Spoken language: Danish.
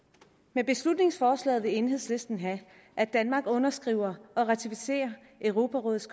med beslutningsforslaget vil enhedslisten have at danmark underskriver og ratificerer europarådets